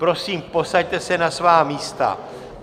Prosím, posaďte se na svá místa.